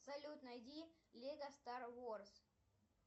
салют найди лего стар варс